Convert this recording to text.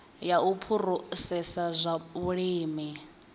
ya u phurosesa zwa vhulimi